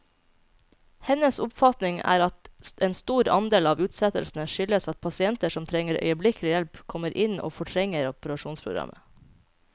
Hennes oppfatning er at en stor andel av utsettelsene skyldes at pasienter som trenger øyeblikkelig hjelp, kommer inn og fortrenger operasjonsprogrammet.